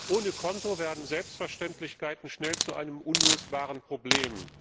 Ohne Konto werden Selbstverständlichkeiten schnell zu einem unlösbaren Problem.